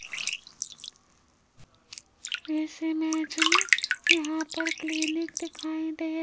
इस इमेज में यहां पर क्लिनिक दिखाई दे --